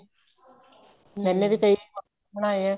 ਮੈਨੇ ਵੀ ਤਾਂ ਕਈ mask ਬਣਾਏ ਏ